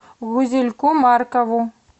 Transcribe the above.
гузельку маркову